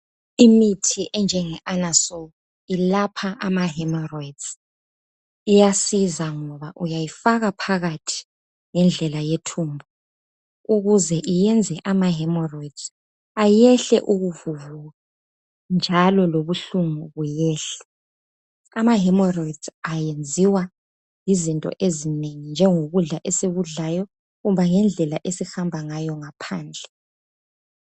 Imithi enjengeAnusol ilapha amahemeroyidi iyasiza ngoba uyayifaka phakathi ngendlela yethumbu ukuze iyenze amahemoroyidzi ayehle ukuvuvuka njalo lobuhlungu buyehle. Amahemoroyidzi ayenziwa yizinto ezinengi njengokudla esikudlayo kumbe ngendlela esihamba ngayo ngaphandle.